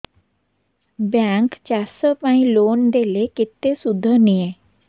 bank ଚାଷ ପାଇଁ loan ଦେଲେ କେତେ ସୁଧ ନିଏ